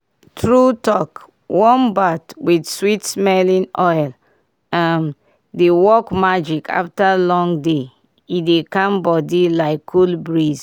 true talk warm bath with sweet-smelling oil um dey work magic after long day—e dey calm body like cool breeze.